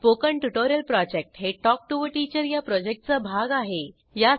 spoken tutorial project हे talk to teacher या प्रॉजेक्टचा भाग आहे